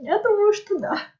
я думаю что да